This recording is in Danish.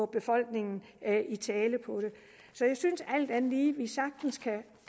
befolkningen i tale så jeg synes alt andet lige vi sagtens kan